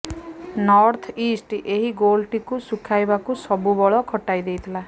north east ଏହି ଗୋଲ୍ଟିକୁ ଶୁଝାଇବାକୁ ସବୁ ବଳ ଖଟାଇ ଦେଇଥିଲା